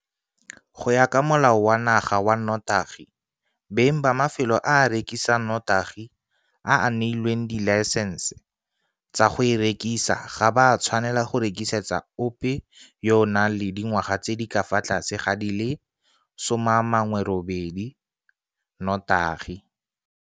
Go ya ka Molao wa Naga wa Notagi, beng ba mafelo a a rekisang notagi a a neilweng dilaesense tsa go e rekisa ga ba tshwanela go rekisetsa ope fela yo a nang le dingwaga tse di ka fa tlase ga di le 18 notagi.